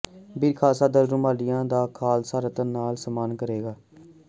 ਬੀਰ ਖ਼ਾਲਸਾ ਦਲ ਰਾਮੂਵਾਲੀਆ ਦਾ ਖ਼ਾਲਸਾ ਰਤਨ ਨਾਲ ਸਨਮਾਨ ਕਰੇਗਾ